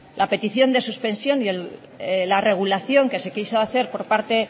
la petición de suspensión y la regulación que se quiso hacer por parte